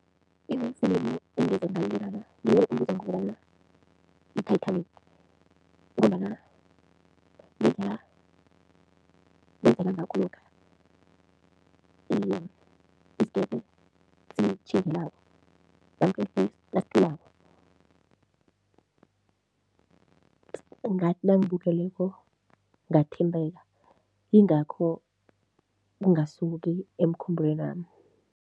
Ifilimu engeze ngalilibala ngile ebizwa ngokobana yi-Titanic ngombana ngendlela kwenzeka ngakho lokha, isikebhe sitjhingelako nasicwilako, ngathi nangibukeleko ngathinteka yingakho ingasuki emkhumbulwenami.